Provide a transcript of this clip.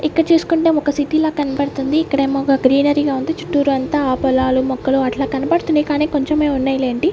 ఇక్కడ చూసుకుంటే ఒక సిటీ లా కనబడుతుంది ఇక్కడేమో ఒక గ్రీనరీగా ఉంది చుట్టూర అంతా పొలాలు మొక్కలు అట్లా కనబడుతున్నాయి కానీ కొంచెమే ఉన్నాయి లేండి.